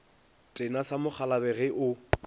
tena sa mokgolabje ge o